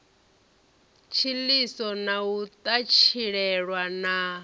tshiḽiso na u ṱatshilelwa na